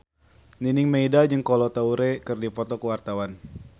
Nining Meida jeung Kolo Taure keur dipoto ku wartawan